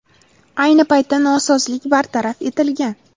Ayni paytda nosozlik bartaraf etilgan.